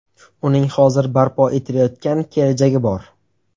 Uning hozir barpo etilayotgan kelajagi bor.